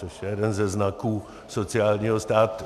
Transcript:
Což je jeden ze znaků sociálního státu.